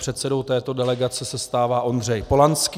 Předsedou této delegace se stává Ondřej Polanský.